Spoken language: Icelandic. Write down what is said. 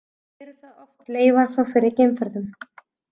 Eru það oft leifar frá fyrri geimferðum.